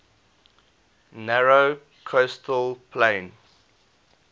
narrow coastal plain